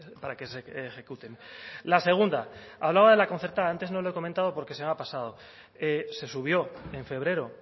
para que se ejecuten la segunda hablaba de la concertada antes no lo he comentado porque se me ha pasado se subió en febrero